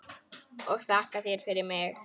Og þakka þér fyrir mig.